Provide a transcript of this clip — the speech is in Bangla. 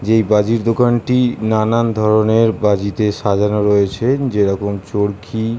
যেই বাজির দোকানটি নানান ধরণের বাজি দিয়ে সাজানো রয়েছে যেরকম চরকি ।